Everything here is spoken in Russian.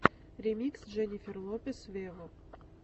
ремикс дженнифер лопес вево